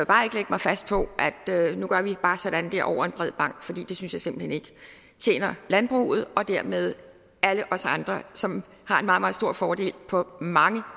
bare ikke lægge mig fast på at nu gør vi bare sådan der over en bred bank for det synes jeg simpelt hen ikke tjener landbruget og dermed alle os andre som har en meget meget stor fordel på mange